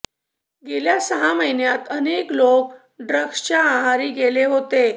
गेल्या सहा महिन्यात अनेक लोक हे ड्रग्सच्या आहारी गेले होते